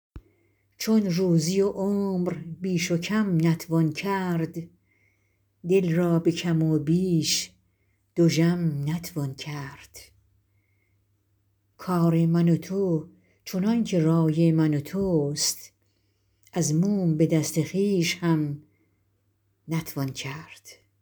چون روزی و عمر بیش و کم نتوان کرد دل را به کم و بیش دژم نتوان کرد کار من و تو چنان که رای من و توست از موم به دست خویش هم نتوان کرد